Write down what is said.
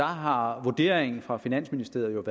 har vurderingen fra finansministeriets